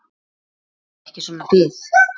Þoli ekki svona bið.